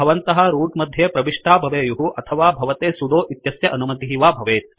भवन्तः रूत् मध्ये प्रविष्टाः भवेयुः अथवा भवते सुदो इत्यस्य अनुमतिः वा भवेत्